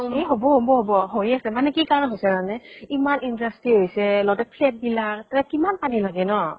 এ হʼব হʼব হʼব । মানে হৈয়ে আছে । মানে কি কাৰণে হৈছে জান নে ইমান industry হৈছে, লগতে flat বিলাক, তাতে কিমান পানী লাগে ন ?